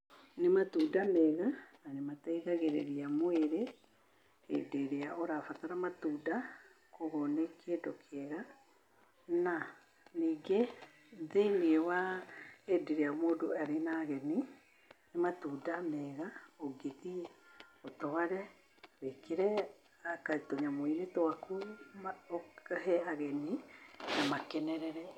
Nĩ matunda mega na nĩ mateithagĩrĩria mwĩrĩ hĩndĩ ĩrĩa ũrabatara matunda, kwoguo nĩ kĩndũ kĩega. Na ningĩ thĩinĩ wa hĩndĩ ĩrĩa mũndũ arĩ na ageni, nĩ matunda mega ũngĩ thiĩ ũtware, wĩkĩre anga tũnyamũi-inĩ twaku, ũkahe ageni, na makenerere.